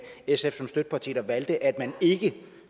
sf som støtteparti de valgte at man ikke